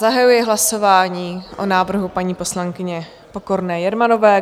Zahajuji hlasování o návrhu paní poslankyně Pokorné Jermanové.